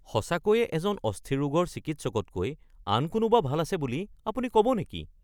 সঁচাকৈয়ে এজন অস্থিৰোগৰ চিকিৎসকতকৈ আন কোনোবা ভাল আছে বুলি আপুনি ক'ব নেকি?